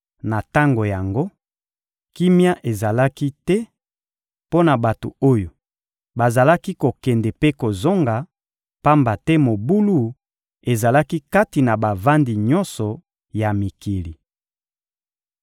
Na tango yango, kimia ezalaki te mpo na bato oyo bazalaki kokende mpe kozonga, pamba te mobulu ezalaki kati na bavandi nyonso ya mikili.